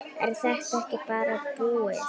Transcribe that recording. Er þetta ekki bara búið?